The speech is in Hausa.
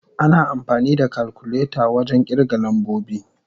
Ana amfani da kalkuleta wajen kirga lambobi.